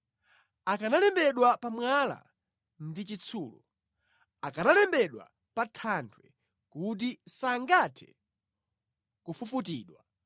akanalembedwa pa mwala ndi chitsulo, akanalembedwa pa thanthwe kuti sangathe kufufutidwa!